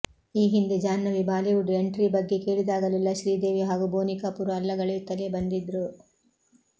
ಈ ಹಿಂದೆ Janhvi Bollywood entry ಬಗ್ಗೆ ಕೇಳಿದಾಗಲೆಲ್ಲ ಶ್ರೀದೇವಿ ಹಾಗೂ ಬೋನಿ ಕಪೂರ್ ಅಲ್ಲಗಳೆಯುತ್ತಲೇ ಬಂದಿದ್ರು